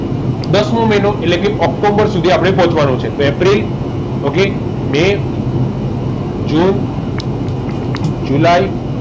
દસ મો મહિનો એટલે ઓક્ટોબર સુધી આપણે પહોંચવાનું છે એપ્રિલ okay મે જૂન જુલાઈ